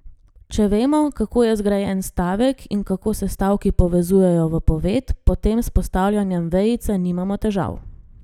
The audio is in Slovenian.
Če vemo, kako je zgrajen stavek in kako se stavki povezujejo v povedi, potem s postavljanjem vejice nimamo težav.